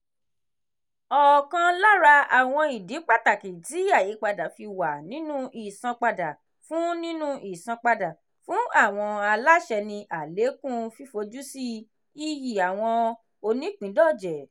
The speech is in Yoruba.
ọkàn lára àwọn ìdí pàtàkì tí àyípadà fi wà nínú ìsanpadà fún nínú ìsanpadà fún àwọn aláṣẹ ni àlékún fífojúsí iyì àwọn onípìńdọ̀jẹ̀